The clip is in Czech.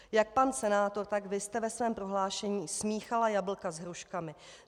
Jak pan senátor, tak Vy jste ve svém prohlášení smíchali jablka s hruškami.